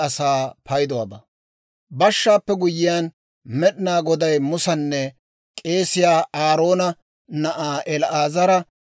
Boshaappe guyyiyaan, Med'inaa Goday Musanne k'eesiyaa Aaroona na'aa El"aazara,